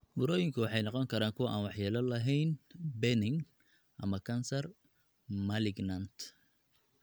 Burooyinku waxay noqon karaan kuwo aan waxyeello lahayn (benign) ama kansar (malignant).